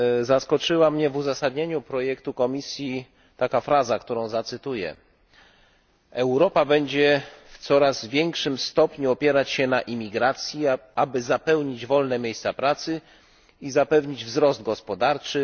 Zaskoczyła mnie w uzasadnieniu projektu Komisji taka fraza, którą zacytuję Europa będzie w coraz większym stopniu opierać się na imigracji, aby zapełnić wolne miejsca pracy i zapewnić wzrost gospodarczy.